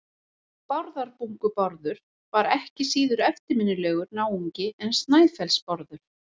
Bárðarbungu-Bárður var ekki síður eftirminnilegur náungi en Snæfellsnes-Bárður.